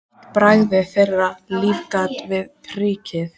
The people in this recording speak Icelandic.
Eitt bragðið þeirra lífgar við prik.